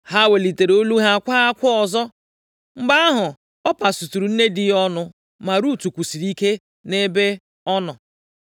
Ha welitere olu ha kwaa akwa ọzọ. Mgbe ahụ Ọpa suturu nne di ya ọnụ ma Rut kwusịrị ike nʼebe ọ nọ.